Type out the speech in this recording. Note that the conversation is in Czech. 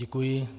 Děkuji.